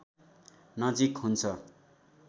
नजीक हुन्छ